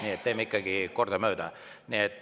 Nii et teeme ikkagi kordamööda.